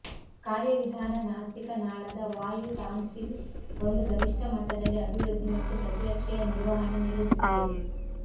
ಕಾರ್ಯವಿಧಾನ ನಾಸಿಕ ನಾಳದ ವಾಯು ಟಾನ್ಸಿಲ್ ಒಂದು ಗರಿಷ್ಟ ಮಟ್ಟದಲ್ಲಿ ಅಭಿವೃದ್ಧಿ ಮತ್ತು ಪ್ರತಿರಕ್ಷೆಯ ನಿರ್ವಹಣೆ ನೆಲೆಸಿದೆ